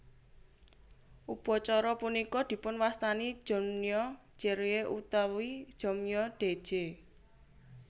Upacara punika dipunwastani Jonmyo jerye utawi Jongmyo Daeje